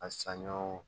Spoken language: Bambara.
A saɲɔ